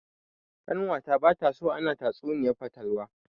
Ƙanwata bata so ana tatsuniyar fatalwa.